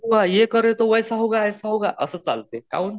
ये करे तो वाईस होगा ऐसा होगा असं चालते काऊन?